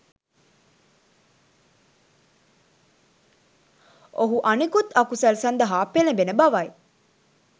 ඔහු අනෙකුත් අකුසල් සඳහා පෙළඹෙන බවයි.